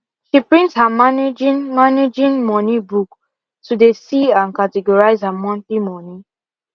she print her managing managing money book to de see and categorize her monthly moni